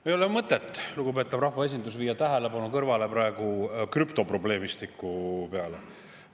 Ei ole mõtet, lugupeetav rahvaesindus, viia tähelepanu kõrvale krüptoprobleemistiku peale.